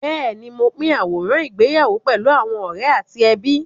Bẹ́ẹ̀ni, mo pín àwòrán ìgbéyàwó pẹ̀lú àwọn ọ̀rẹ́ àti ẹbí.